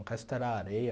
O resto era areia.